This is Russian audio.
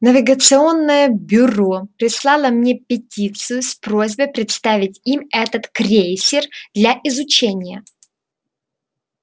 навигационное бюро прислало мне петицию с просьбой представить им этот крейсер для изучения